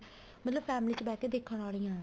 ਮਤਲਬ family ਚ ਬਿਹ ਕੇ ਦੇਖਣ ਵਾਲੀਆਂ